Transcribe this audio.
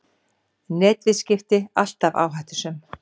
Netviðskipti alltaf áhættusöm